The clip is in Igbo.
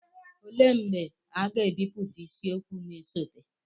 olee mgbe a ga-ebipụta isiokwu na-esote